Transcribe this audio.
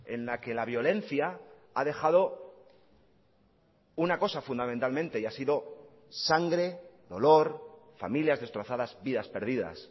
en la que la violencia ha dejado una cosa fundamentalmente y ha sido sangre dolor familias destrozadas vidas perdidas